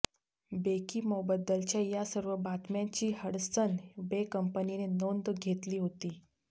बेकीमोबद्दलच्या या सर्व बातम्यांची हडसन बे कंपनीने नोंद घेतली होती